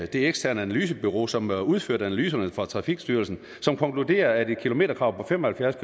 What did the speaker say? det eksterne analysebureau som har udført analyserne for trafikstyrelsen som konkluderer at et kilometerkrav på fem og halvfjerds